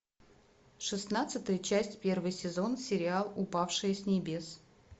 шестнадцатая часть первый сезон сериал упавший с небес